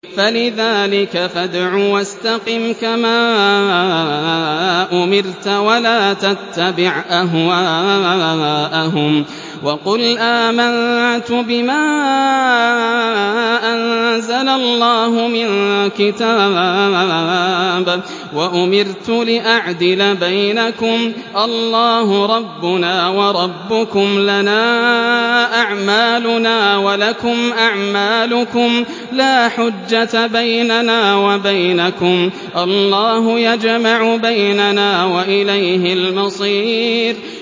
فَلِذَٰلِكَ فَادْعُ ۖ وَاسْتَقِمْ كَمَا أُمِرْتَ ۖ وَلَا تَتَّبِعْ أَهْوَاءَهُمْ ۖ وَقُلْ آمَنتُ بِمَا أَنزَلَ اللَّهُ مِن كِتَابٍ ۖ وَأُمِرْتُ لِأَعْدِلَ بَيْنَكُمُ ۖ اللَّهُ رَبُّنَا وَرَبُّكُمْ ۖ لَنَا أَعْمَالُنَا وَلَكُمْ أَعْمَالُكُمْ ۖ لَا حُجَّةَ بَيْنَنَا وَبَيْنَكُمُ ۖ اللَّهُ يَجْمَعُ بَيْنَنَا ۖ وَإِلَيْهِ الْمَصِيرُ